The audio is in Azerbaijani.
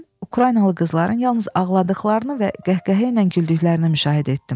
Mən Ukraynalı qızların yalnız ağladıqlarını və qəhqəhə ilə güldüklərini müşahidə etdim.